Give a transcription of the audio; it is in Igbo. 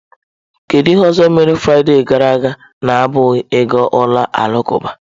Kedu ihe ọzọ ị mere Fraịde gara aga na-abụghị ịga ụlọ alakụba?.